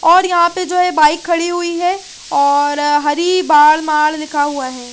और यहाँ पे जो है बाइक खड़ी हुई है और हरी बाढ़ माड लिखा हुआ है ।